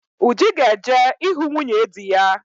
Uju ga-eje ịhụ nwunye dị ya.